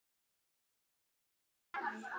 Kynnum þeim það bara.